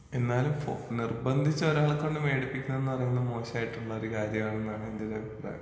എന്നാലും ഫോ നിർബന്ധിച്ച് ഒരാളെ കൊണ്ട് വേടിപ്പിക്കുന്ന പറയുന്നത് മോശമായിട്ടുള്ള ഒരു കാര്യമാണെന്നാണ് എന്റെയൊരു അഭിപ്രായം.